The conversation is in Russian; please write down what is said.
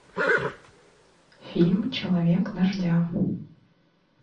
фильм человек дождя